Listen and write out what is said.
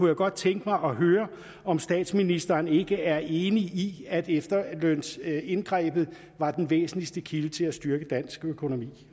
jeg godt tænke mig at høre om statsministeren ikke er enig i at efterlønsindgrebet var den væsentligste kilde til at styrke den danske økonomi